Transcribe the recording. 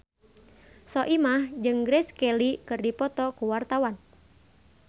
Soimah jeung Grace Kelly keur dipoto ku wartawan